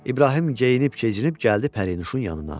İbrahim geyinib-keçinib gəldi Pərinuşun yanına.